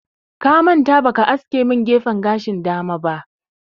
Ka manta ba ka aske min gefen gashin dama ba